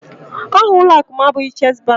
Aha ụlọakụ m abụghị chess bank